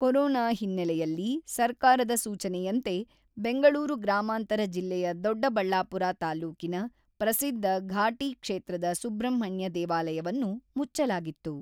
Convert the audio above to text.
Corona ಹಿನ್ನಲೆಯಲ್ಲಿ ಸರ್ಕಾರದ ಸೂಚನೆಯಂತೆ ಬೆಂಗಳೂರು ಗ್ರಾಮಾಂತರ ಜಿಲ್ಲೆಯ ದೊಡ್ಡಬಳ್ಳಾಪುರ ತಾಲೂಕಿನ ಪ್ರಸಿದ್ಧ ಘಾಟಿ ಕ್ಷೇತ್ರದ ಸುಬ್ರಹ್ಮಣ್ಯ ದೇವಾಲಯವನ್ನು ಮುಚ್ಚಲಾಗಿತ್ತು.